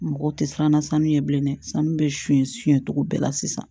Mɔgɔw tɛ siran na sanu ye bilen dɛ sanu bɛ su in suyɛn cogo bɛɛ la sisan